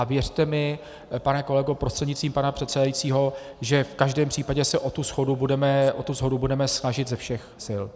A věřte mi, pane kolego prostřednictvím pana předsedajícího, že v každém případě se o tu shodu budeme snažit ze všech sil.